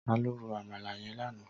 Tàló ró ámàlá yèn làná?